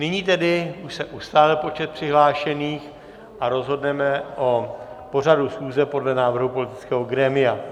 Nyní tedy už se ustálil počet přihlášených a rozhodneme o pořadu schůze podle návrhu politického grémia.